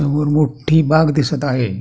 समोर मोठी बाग दिसत आहे.